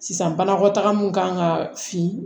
Sisan banakɔtaga min kan ka fin